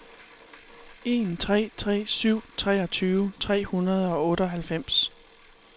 en tre tre syv treogtyve tre hundrede og otteoghalvfems